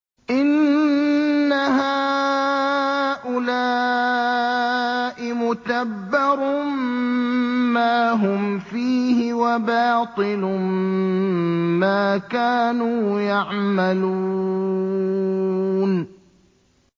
إِنَّ هَٰؤُلَاءِ مُتَبَّرٌ مَّا هُمْ فِيهِ وَبَاطِلٌ مَّا كَانُوا يَعْمَلُونَ